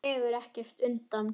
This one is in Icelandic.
Dregur ekkert undan.